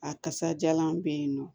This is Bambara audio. A kasajalan be yen nɔ